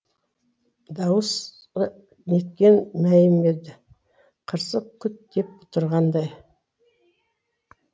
дауысы неткен мәйім еді қырсық күт деп тұрғандай